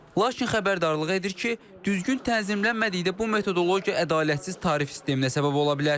Lakin xəbərdarlığı edir ki, düzgün tənzimlənmədikdə bu metodologiya ədalətsiz tarif sisteminə səbəb ola bilər.